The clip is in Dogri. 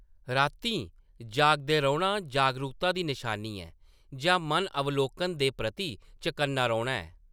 रातीं जागदे रौह्‌‌‌ना जागरूकता दी नशानी ऐ, जां मन अवलोकन दे प्रति चकन्ना रौह्‌‌‌ना ऐ।